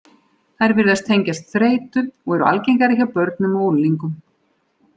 Þær virðast tengjast þreytu, og eru algengari hjá börnum og unglingum.